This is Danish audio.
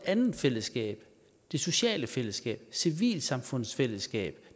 andet fællesskab det sociale fællesskab civilsamfundsfællesskabet